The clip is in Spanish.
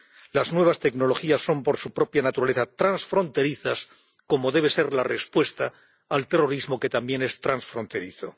Las nuevas tecnologías son, por su propia naturaleza, transfronterizas, como debe ser la respuesta al terrorismo, que también es transfronterizo.